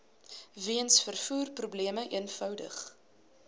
weens vervoerprobleme eenvoudig